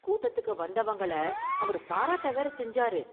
கூட்டத்துக்கு வந்தவங்கள அவரு பாராட்ட வேற செஞ்சாரு.